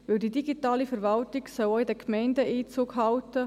Denn die digitale Verwaltung soll auch in den Gemeinden Einzug halten.